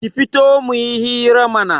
Ki fito muyi hira mana